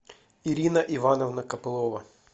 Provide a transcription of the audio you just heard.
ирина ивановна копылова